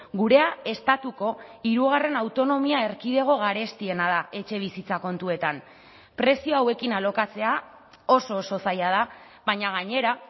gurea estatuko hirugarren autonomia erkidego garestiena da etxebizitza kontuetan prezio hauekin alokatzea oso oso zaila da baina gainera